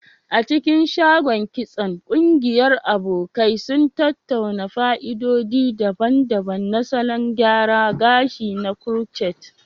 A cikin shagon kitson, ƙungiyar abokai sun tattauna fa'idodi daban-daban na salon gyara gashi na crochet.